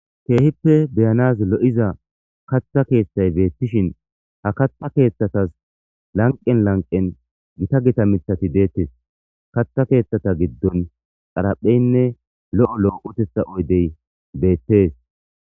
Keehippe beyanaz lo7iza katha keeththay beettishin ha katha keeththatas lanqen lanqen gita gita mithati deettes katha keeththata giddon xarapheynne lo7o loo7otetha oydey beettes.